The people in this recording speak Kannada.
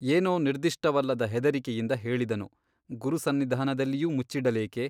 ಏನೋ ನಿರ್ದಿಷ್ಟವಲ್ಲದ ಹೆದರಿಕೆಯಿಂದ ಹೇಳಿದನು ಗುರುಸನ್ನಿಧಾನದಲ್ಲಿಯೂ ಮುಚ್ಚಿಡಲೇಕೆ ?